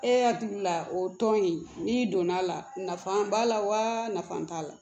E hakili la o tɔn in n'i donna a la nafa b'a la wa nafa t'a la